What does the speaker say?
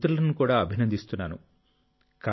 మీకు మిత్రులను కూడా అభినందిస్తున్నాను